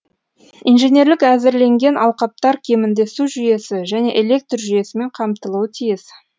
инженерлік әзірленген алқаптар кемінде су жүйесі және электр жүйесімен қамтылуы тиіс